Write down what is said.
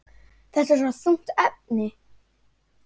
Þetta er svo þungt efni.